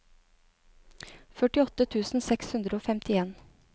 førtiåtte tusen seks hundre og femtien